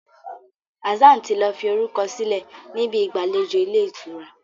Hassan tí lọ fí orukọ sílẹ ní Ibi ìgbàlejò Ilé-ìtura.